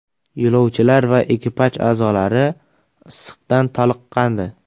Yo‘lovchilar va ekipaj a’zolari issiqdan toliqqandi.